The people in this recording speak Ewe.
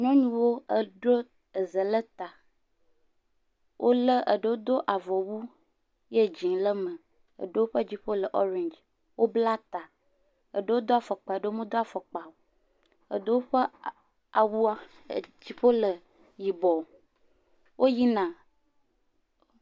Nyɔnuwo edro eze le ta, wolé eɖewo do avɔwu ye dzee le me, eɖewo ƒe dziƒo le ɔreng, wobla ta, eɖewo do afɔkpa, eɖewo medo afɔkpa o, eɖewo ƒe awua dziƒo le yibɔ, woyina.